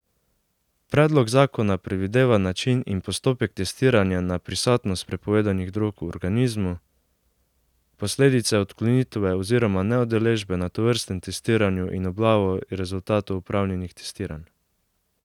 Predlog zakona predvideva način in postopek testiranja na prisotnost prepovedanih drog v organizmu, posledice odklonitve oziroma neudeležbe na tovrstnem testiranju in objavo rezultatov opravljenih testiranj.